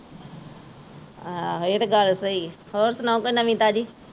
ਆਹ ਏਹ ਤੇ ਗੱਲ ਸਹੀ ਏ, ਹੋਰ ਸੁਣਾਓ ਕੋਈ ਨਵੀਂ ਤਾਜ਼ੀ